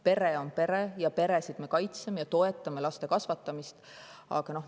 Pere on pere, peresid me kaitseme ja toetame laste kasvatamist.